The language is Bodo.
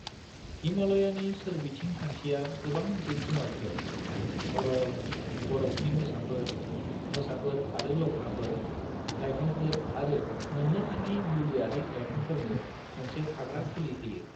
हिमाल'यानि सोरबिथिं खान्थिया गोबां जिब जुनारफोर (भरल, बर'फनि मोसाफोर, मोसाफोर आरो लख्राफोर), लाइफांफोर आरो मोननो थाङि मुलियारि लाइफांफोरनो मोनसे थाग्रा खुलि होयो ।